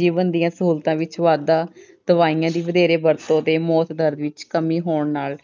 ਜੀਵਨ ਦੀਆਂ ਸਹੂਲਤਾਂ ਵਿੱਚ ਵਾਧਾ, ਦਵਾਈਆਂ ਦੀ ਵਧੇਰੇ ਵਰਤੋਂ ਤੇ ਮੌਤ ਦਰ ਵਿੱਚ ਕਮੀ ਹੋਣ ਨਾਲ